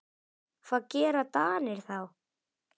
Hvað gera Danir þá?